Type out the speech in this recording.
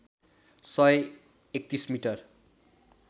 सय ३१ मिटर